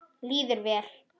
Líður vel.